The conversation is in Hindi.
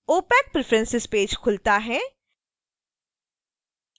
opac preferences पेज खुलता है